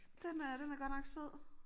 Den er den er godt nok sød